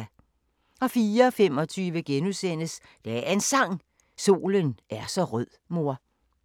04:25: Dagens Sang: Solen er så rød mor *